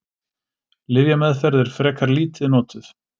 Lyfjameðferð er frekar lítið notuð.